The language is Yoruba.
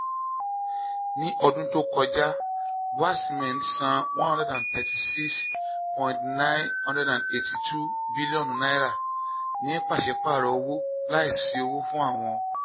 ní ọdún tó kọjá bua cement san n one hundred thirty six point nine eight two bílíọ̀nù ní pàṣípààrọ̀ owó láìsí owó fún àwọn